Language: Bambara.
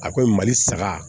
A ko mali saga